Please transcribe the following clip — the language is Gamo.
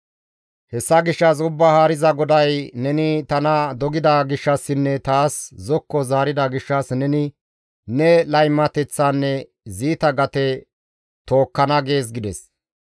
«Hessa gishshas Ubbaa Haariza GODAY, ‹Neni tana dogida gishshassinne taas zokko zaarida gishshas neni ne laymateththaanne ziita gate tookkana› gees» gides.